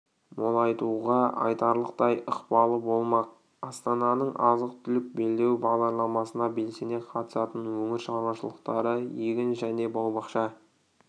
молайтуға айтарлықтай ықпалы болмақ астананың азық-түлік белдеуі бағдарламасына белсене қатысатын өңір шаруашылықтары егін және бау-бақша